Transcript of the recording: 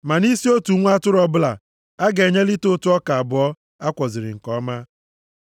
Ma nʼisi otu nwa atụrụ ọbụla, a ga-enye lita ụtụ ọka abụọ a kwọziri nke ọma.